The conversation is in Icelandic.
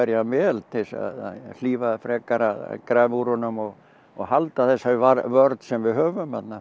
hann vel til að hlífa frekar að grafi úr honum og og halda þessari vörn sem við höfum þarna